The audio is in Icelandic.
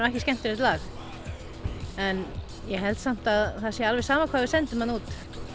ekki skemmtilegt lag en ég held samt að það sé alveg sama hvað við sendum þarna út